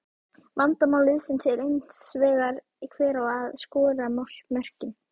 Vandamál liðsins er hins vegar hver á að skora mörkin?